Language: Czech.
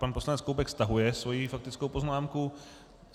Pan poslanec Koubek stahuje svoji faktickou poznámku.